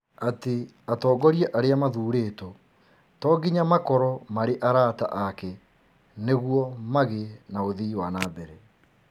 atĩ atongoria arĩa mathuurĩtwo to nginya makorũo marĩ arata ake nĩguo magĩe na ũthii wa na mbere.